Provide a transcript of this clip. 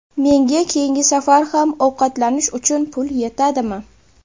Menga keyingi safar ham ovqatlanish uchun pul yetadimi?